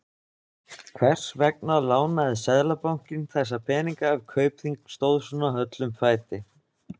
Hvers vegna lánaði Seðlabankinn þessa peninga ef Kaupþing stóð svona höllum fæti?